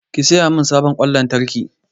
Ki saya min sabon ƙwan lantarki!